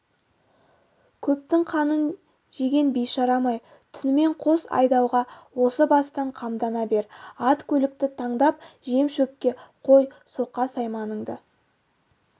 көптің қамын жеген бейшарам-ай түнімен қос айдауға осы бастан қамдана бер ат-көлікті таңдап жем-шөпке қой соқа-сайманыңды